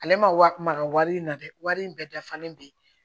Ale ma wali in na dɛ wari in bɛɛ dafalen bɛ yen